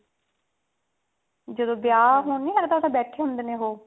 ਜਦੋਂ ਵਿਆਹ ਹੋਣ ਨੀ ਲੱਗਦਾ ਬੈਠੇ ਹੁੰਦੇ ਨੇ ਉਹ